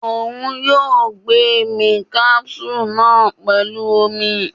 Oun yoo gbemí capsule naa pẹlu omi